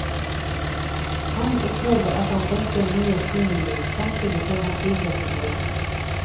Han opplevde at han trengte nye stimuli, samtidig som han trivdes i jobben.